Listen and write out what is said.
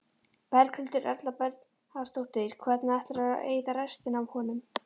Berghildur Erla Bernharðsdóttir: Hvernig ætlarðu að eyða restinni af honum?